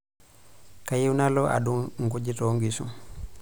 Kayieu nalo adung'u nkujit oonkishu.